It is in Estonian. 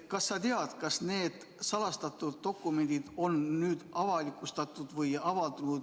Kas sa tead, kas need salastatud dokumendid on nüüd avalikustatud?